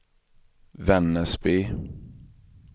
Vännäsby